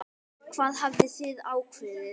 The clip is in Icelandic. Hvað hafið þið ákveðið?